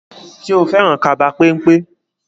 Ṣo fẹ́ràn kaba pẹ́npẹ́?